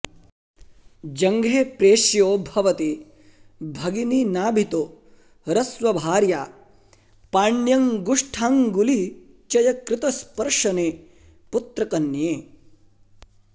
जङ्घे प्रेष्यो भवति भगिनी नाभितो हृत्स्वभार्या पाण्यङ्गुष्ठाङ्गुलिचयकृतस्पर्शने पुत्रकन्ये